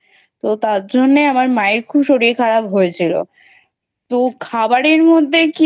তো তার জন্য আমার মায়ের খুব শরীর খারাপ হয়েছিল। তো খাবারের মধ্যে